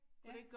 Ja